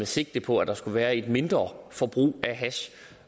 sigte på at der skulle være et mindre forbrug af hash